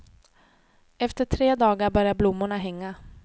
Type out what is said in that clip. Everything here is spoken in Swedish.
Efter tre dagar börjar blommorna hänga.